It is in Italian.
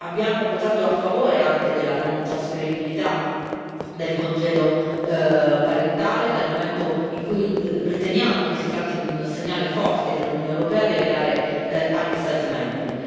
Abbiamo votato a favore anche della non trasferibilità del congedo parentale, dal momento che riteniamo che si tratti di un segnale forte che l'Unione europea deve dare agli Stati membri.